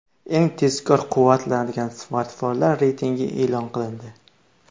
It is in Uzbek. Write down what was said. Eng tezkor quvvatlanadigan smartfonlar reytingi e’lon qilindi.